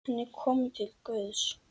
Hann er kominn til Guðs.